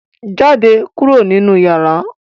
Jáde kúrò nínú yàrá!